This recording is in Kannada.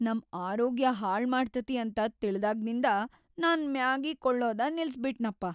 ನಮ್‌ ಆರೋಗ್ಯ ಹಾಳ್‌ ಮಾಡ್ತತಿ ಅಂತ ತಿಳ್ದಾಗ್ನಿಂದ ನಾನ್‌ ಮ್ಯಾಗಿ ಕೊಳ್ಳೋದ ನಿಲ್ಸಬಿಟ್ನಪ್ಪ.